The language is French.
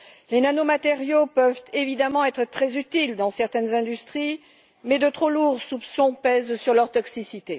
Les nanomatériaux peuvent évidemment être très utiles dans certaines industries, mais de trop lourds soupçons pèsent sur leur toxicité.